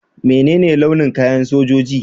Mene ne launin kayan sojoji?